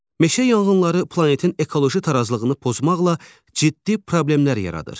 Meşə yanğınları planetin ekoloji tarazlığını pozmaqla ciddi problemlər yaradır.